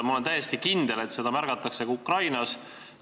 Ma olen täiesti kindel, et seda märgatakse ka Ukrainas.